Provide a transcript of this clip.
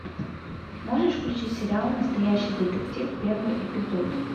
можешь включить сериал настоящий детектив первый эпизод